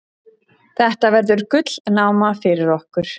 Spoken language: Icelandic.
Þetta verður gullnáma fyrir okkur.